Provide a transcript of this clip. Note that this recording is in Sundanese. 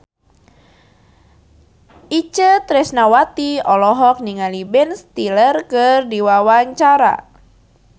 Itje Tresnawati olohok ningali Ben Stiller keur diwawancara